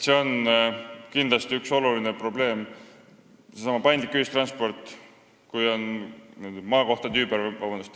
Sellesama paindliku ühistranspordi puudumine on kindlasti üks oluline probleem.